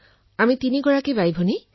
ঘৰত তিনিগৰাকী মহিলা